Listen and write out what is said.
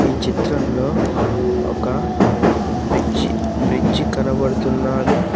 ఈ చిత్రంలో ఒక బీచ్ బ్రిడ్జి కనబడుతున్నది.